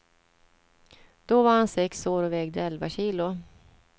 Då var han sex år och vägde elva kilo.